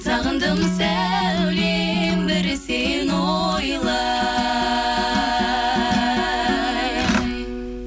сағындым сәулем бір сені ойлай